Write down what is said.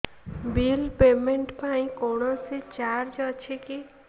bill payment ପାଇଁ କୌଣସି charge ଅଛି କି